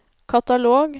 katalog